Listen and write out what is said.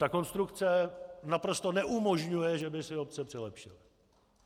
Tato konstrukce naprosto neumožňuje, že by si obce přilepšily.